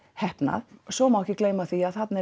heppnaður svo má ekki gleyma því að þarna er